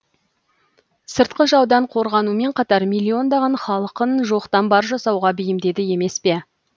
сыртқы жаудан қорғанумен қатар миллиондаған халқын жоқтан бар жасауға бейімдеді емес пе